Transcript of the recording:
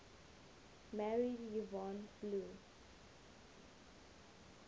married yvonne blue